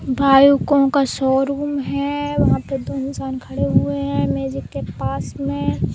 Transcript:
Bike उक का showroom हैं। वहां पे दो इंसान खड़े हुए हैं मैजिक के पास में --